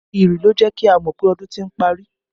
Ìrì ló jẹ́ kí a mọ pé ọdún ti ń parí